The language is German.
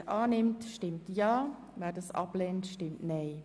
Wer diesen annimmt, stimmt Ja, wer diesen ablehnt, stimmt Nein.